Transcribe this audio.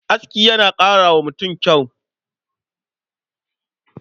Aski yana ƙara wa mutum kyau.